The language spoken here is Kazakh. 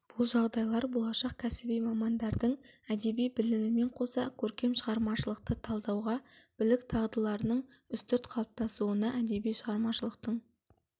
бұл жағдайлар болашақ кәсіби мамандардың әдеби білімімен қоса көркем шығармашылықты талдауға білік дағдыларының үстірт қалыптасуына әдеби шығармашылықтың